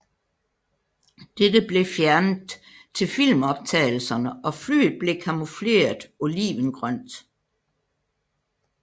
Dette blev fjernet til filmoptagelserne og flyet blev kamufleret olivengrønt